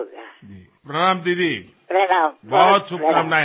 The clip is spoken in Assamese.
আমাৰ ঘৰলৈ মিঠাই কাপোৰ অহাৰ সময়ত ঘৰৰ পৰা এয়া বাহিৰ ওলোৱাৰ কথাও চিন্তা কৰক